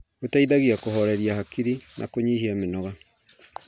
Gũteithagia kũhoreria hakiri na kũnyihia mĩnoga.